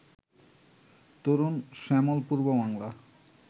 তরুণ শ্যামল পূর্ব বাংলা